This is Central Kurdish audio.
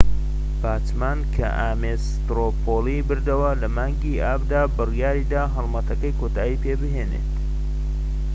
باچمان کە ئامێس سترۆ پۆڵی بردەوە لە مانگی ئابدا بڕیاریدا هەلمەتەکەی کۆتایی پێبێنت